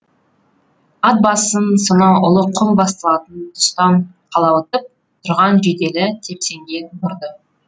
ат басын сонау ұлы құм басталатын тұстан қылауытып тұрған жиделі тепсеңге бұрды